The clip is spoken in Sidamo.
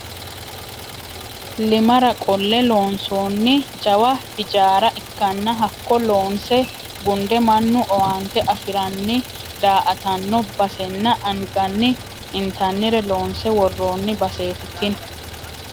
Iimara qolle loonsonni jawa hijaara ikkanna hakkoe loonse gunde mannu owaante afiranni daa"attano basenna anganni intannire loonse worooni baseti tini.